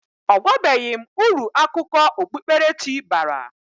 Ọ gwabeghi m uru akụkọ okpukpere chi bara.